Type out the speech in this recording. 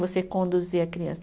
Você conduzir a criança.